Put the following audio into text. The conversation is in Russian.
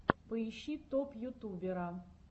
поищи топ ютубера